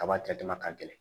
Kaba jate ma ka gɛlɛn